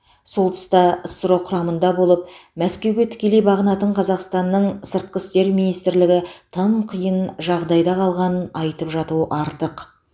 сол тұста ссро құрамында болып мәскеуге тікелей бағынатын қазақстанның сыртқы істер министрлігі тым қиын жағдайда қалғанын айтып жату артық